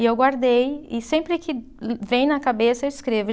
E eu guardei, e sempre que vem na cabeça eu escrevo.